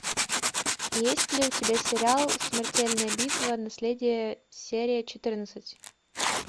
есть ли у тебя сериал смертельная битва наследия серия четырнадцать